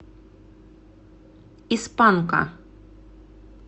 из панка